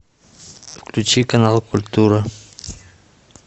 включи канал культура